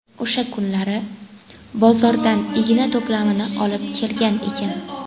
O‘sha kunlari bozordan igna to‘plamini olib kelgan ekan.